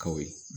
Kaw ye